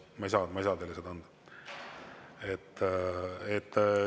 Ma ei saa teile seda anda.